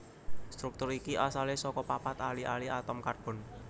Struktur iki asalé saka papat ali ali atom karbon